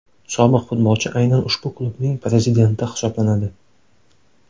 Sobiq futbolchi aynan ushbu klubning prezidenti hisoblanadi.